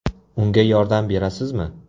Unga yordam berasizmi?